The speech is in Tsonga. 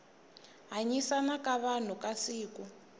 hanyisana ka vanhu ka siku